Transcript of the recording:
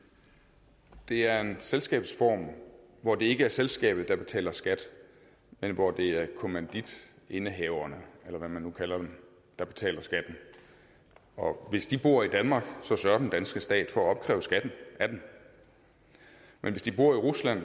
det er en selskabsform hvor det ikke er selskabet der betaler skat men hvor det er kommanditindehaverne eller hvad man nu kalder dem der betaler skatten og hvis de bor i danmark sørger den danske stat for at opkræve skatten af dem men hvis de bor i rusland